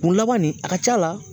Kun laban nin a ka ca la